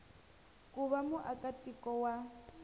ku va muaka tiko wa